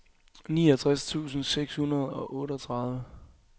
niogtres tusind seks hundrede og otteogtredive